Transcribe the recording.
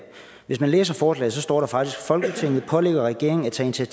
hvis man læser forslaget står der faktisk folketinget pålægger regeringen at tage